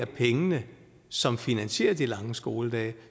penge som finansierer de lange skoledage og